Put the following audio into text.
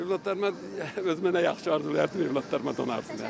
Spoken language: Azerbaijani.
Övladlarıma öz mənə yaxşı arzulayardım, övladlarıma donarsınlar.